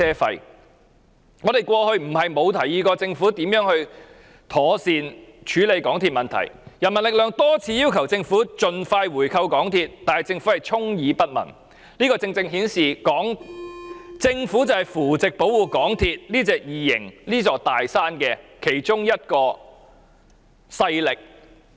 其實，我們過往並非沒有建議政府如何妥善處理港鐵的問題，人民力量曾多次要求政府盡快回購港鐵，但政府卻充耳不聞，這正正顯示政府就是扶植和保護港鐵這隻異形、這座"大山"的其中一個勢力。